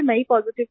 मैं ही पॉजिटिव थी